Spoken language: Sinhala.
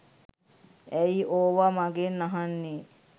ඇයි ඕව මගෙන් අහන්නේ